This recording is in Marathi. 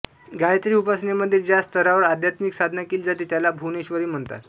गायत्री उपासनेमध्ये ज्या स्तरावर आध्यात्मिक साधना केली जाते त्याला भुवनेश्वरी म्हणतात